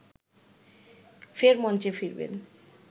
ফের মঞ্চে ফিরবেন